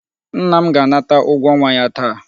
Nna m ga-anata ụgwọ ọnwa ya taa.